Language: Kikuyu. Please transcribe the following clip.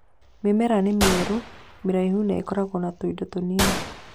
Mĩmera nĩ mĩerũ, mĩraihu, na ĩkoragwo na tũindo tũnini